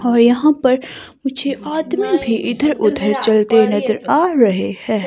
और यहां पर मुझे आदमी भी इधर उधर चलते नजर आ रहे हैं।